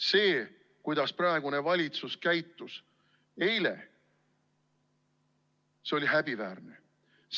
See, kuidas praegune valitsus käitus eile, oli häbiväärne!